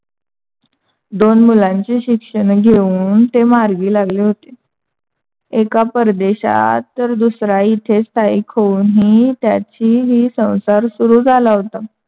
दोन मुलांची शिक्षण घेऊन ते मार्गी लागली होते. एक परदेशात तर दूसरा इथेच स्थायीक होऊन ही त्याची ही संसार चालू सुरू झाला होता.